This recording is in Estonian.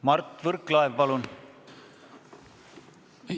Mart Võrklaev, palun!